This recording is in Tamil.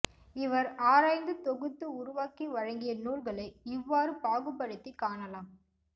இவர் ஆராய்ந்து தொகுத்து உருவாக்கி வழங்கிய நூல்களை இவ்வாறு பாகுபடுத்திக் காணலாம்